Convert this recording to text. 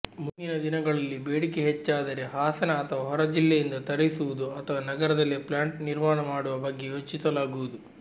ಮುಂದಿನ ದಿನಗಳಲ್ಲಿಬೇಡಿಕೆ ಹೆಚ್ಚಾದರೆ ಹಾಸನ ಅಥವಾ ಹೊರ ಜಿಲ್ಲೆಯಿಂದ ತರಿಸುವುದು ಅಥವಾ ನಗರದಲ್ಲೇ ಪ್ಲಾಂಟ್ ನಿರ್ಮಾಣ ಮಾಡುವ ಬಗ್ಗೆ ಯೋಚಿಸಲಾಗುವುದು